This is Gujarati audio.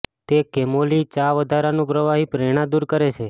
તે કેમોલી ચા વધારાનું પ્રવાહી પ્રેરણા દૂર કરે છે